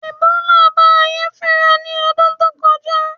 Ẹ̀bólà bá ayé fínra ní ọdún tó kọjá